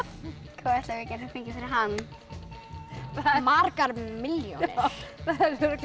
hvað ætli við getum fengið fyrir hann margar milljónir örugglega